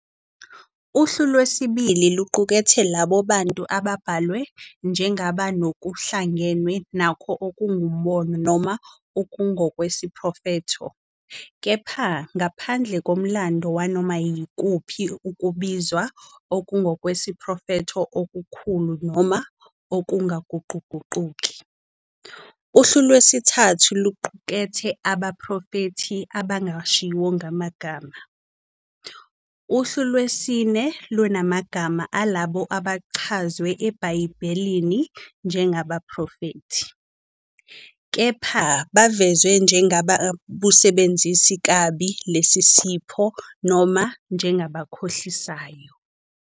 Uhlu lwesibili luqukethe labo bantu ababhalwe njengabanokuhlangenwe nakho okungumbono noma okungokwesiprofetho, kepha ngaphandle komlando wanoma yikuphi ukubizwa okungokwesiprofetho okukhulu noma okungaguquguquki. Uhlu lwesithathu luqukethe abaprofethi abangashiwo ngamagama. Uhlu lwesine lunamagama alabo abachazwe eBhayibhelini njengabaprofethi, kepha bavezwa njengabawusebenzisa kabi lesi sipho noma njengabakhohlisayo.